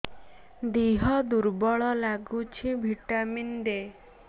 ଦିହ ଦୁର୍ବଳ ଲାଗୁଛି ଭିଟାମିନ ଦେ